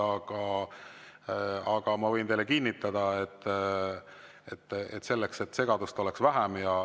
Aga selleks, et segadust oleks vähem, ma võin teile kinnitada.